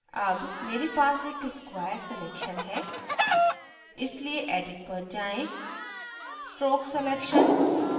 अब मेरे पास एक square selection है इसलिए edit पर जाएँ stroke selection